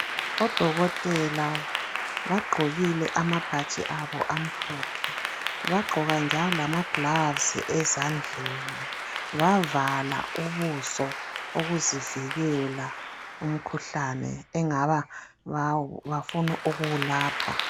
ODokotela bagqokile amabhatshi abo amhlophe, bagqoka njalo lamaglavuzi ezandleni bavala ubuso ukuzivikela umkhuhlane engabangabafuna ukuwulapha.